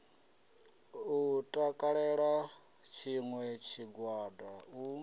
u takalela tshiṋwe tshigwada u